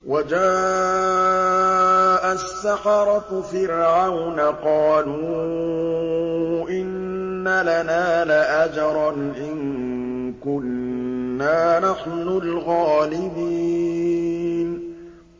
وَجَاءَ السَّحَرَةُ فِرْعَوْنَ قَالُوا إِنَّ لَنَا لَأَجْرًا إِن كُنَّا نَحْنُ الْغَالِبِينَ